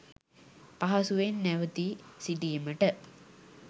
පහසුවෙන් නැවතී සිටීමට